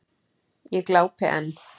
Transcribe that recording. Ég glápi enn.